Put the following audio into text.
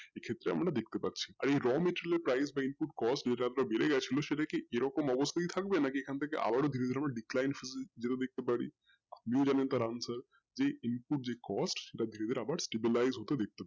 সেই ক্ষেত্রে আমরা দেখতেপাচ্ছি আর এই raw material এর price input cost যেটা বেড়ে গেছিলো সেটা কি এরকম অবস্থাই থাকবে নাকি এখন থাকেও আরো বিভিন্ন decline সুদু দেখতেপারি যে answer যে cost variable hours সেটা ভেবে আবার price হতে